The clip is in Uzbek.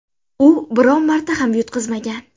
U biron marta ham yutqazmagan.